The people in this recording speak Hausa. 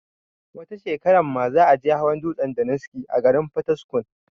wata shekarar ma za a je hawa dutsen daniski a garin fataskum